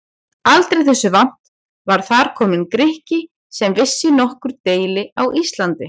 Aldrei þessu vant var þar kominn Grikki sem vissi nokkur deili á Íslandi!